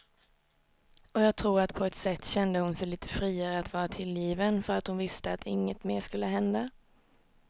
Och jag tror att på ett sätt kände hon sig lite friare att vara tillgiven för att hon visste att inget mer skulle hända.